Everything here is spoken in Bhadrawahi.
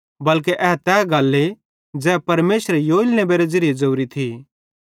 बल्के ए तै गल्ले ज़ै परमेशरे योएल नेबेरे ज़िरीये ज़ोरी थी